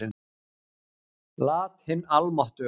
Lat hin almáttuga.